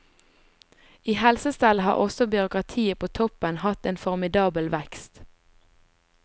I helsestellet har også byråkratiet på toppen hatt en formidabel vekst.